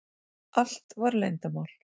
Allt var leyndarmál.